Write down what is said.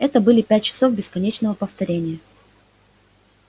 это были пять часов бесконечного повторения